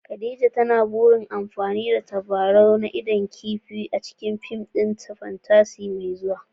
Khadija na da burin yin amfani da tabarau na idon kifi a cikin fim ɗinta na fantasy mai zuwa